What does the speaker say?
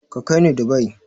Ka kai ni Dubai!